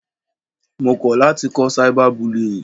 Mo kọ̀ láti kọ́ cyber bullying.